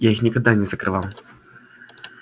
я их никогда не закрывал